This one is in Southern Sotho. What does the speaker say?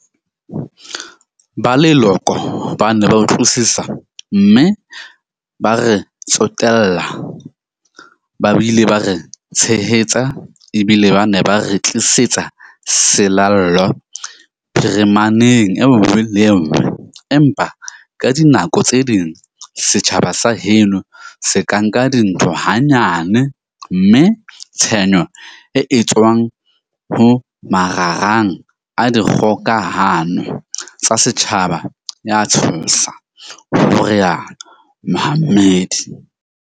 Ba leloko ba ne ba utlwisisa, mme ba re tsotel-la ba bile ba re tshehetsa, ebile ba ne ba re tlisetsa selallo phirimaneng en-ngwe le enngwe, empa ka dinako tse ding setjhaba sa heno se ka nka dintho ha-nyane mme tshenyo e etswa-ng ho marangrang a dikgokahano tsa setjhaba ea tshosa, ho rialo Mohammed.